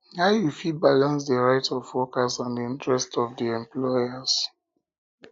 how you fit balanace di rights of workers and di interests of di employers